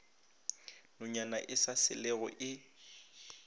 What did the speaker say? nonyana e sa selego e